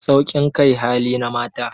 Saukin kai hali na mata